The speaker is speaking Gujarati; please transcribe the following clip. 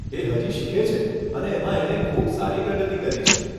એ હજી શીખે છે અને એમાં એણે ખૂબ સારી પ્રગતિ કરી છે.